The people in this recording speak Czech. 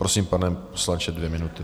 Prosím, pane poslanče, dvě minuty.